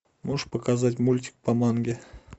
можешь показать мультик по манге